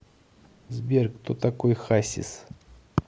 сбер кто такой хасис